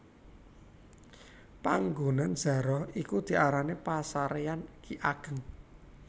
Panggonan zaroh iki diarani pasaréyan Ki Ageng